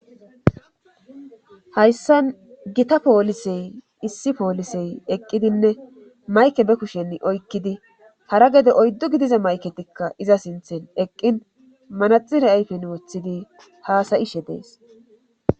Hayssa gita poolisey issi poolisey eqqidinne mayke be kushen oykkidi hara gede oyddu gidize mayketikka iza sinthen eqqin manaxire ayfen woththidi haasayishe dees